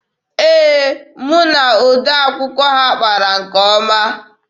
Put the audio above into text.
Ee, mụ na odee akwụkwọ ha kpara nke ọma.